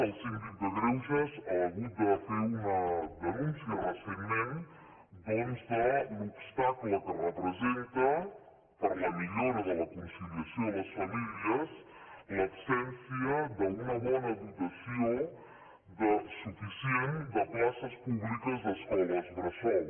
el síndic de greuges ha hagut de fer una denúncia recentment doncs de l’obstacle que representa per a la millora de la conciliació a les famílies l’absència d’una bona dotació suficient de places públiques d’escoles bressol